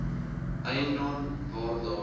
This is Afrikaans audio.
eiendom waar daar